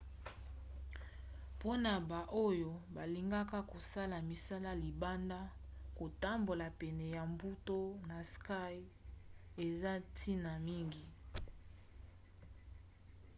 mpona baoyo balingaka kosala misala libanda kotambola pene ya mbu to na sky eza ntina mingi